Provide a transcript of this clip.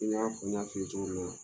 I n'a fɔ n y'a f'i ye cogo min na